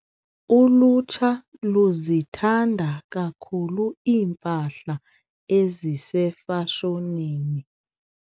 Ulutsha luzithanda kakhulu iimpahla ezisefashonini.